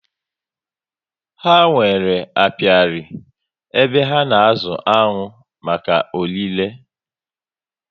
Ha nwèrè apiari, ebe ha na azụ aṅụ maka órí le